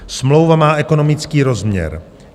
Smlouva má ekonomický rozměr.